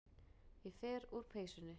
Ég fer úr peysunni.